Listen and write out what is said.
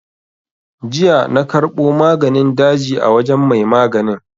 Jiya na karɓo maganin daji a wajen mai maganin.